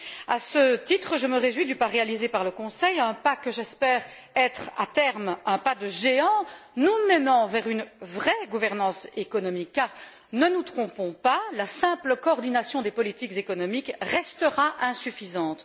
À ce titre, je me réjouis du pas réalisé par le Conseil européen, un pas que j'espère être, à terme, un pas de géant nous menant vers une vraie gouvernance économique car, ne nous trompons pas, la simple coordination des politiques économiques restera insuffisante.